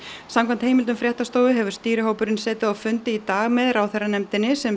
samkvæmt heimildum fréttastofu hefur stýrihópurinn setið á fundi í dag með ráðherranefndinni sem